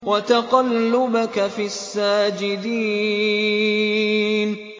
وَتَقَلُّبَكَ فِي السَّاجِدِينَ